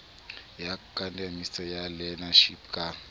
ya akademiki ya learnership ka